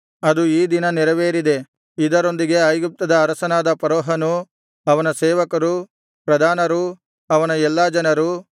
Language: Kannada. ಅದು ಈ ದಿನ ನೆರವೇರಿದೆ ಇದರೊಂದಿಗೆ ಐಗುಪ್ತದ ಅರಸನಾದ ಫರೋಹನು ಅವನ ಸೇವಕರು ಪ್ರಧಾನರು ಅವನ ಎಲ್ಲಾ ಜನರು